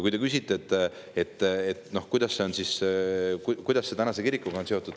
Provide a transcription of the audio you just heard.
Te küsisite, et kuidas see on seotud tänase kirikuga.